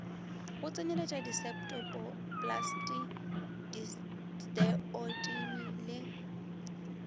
go tsenyeletšwa diseptpoplasti diosteotimi le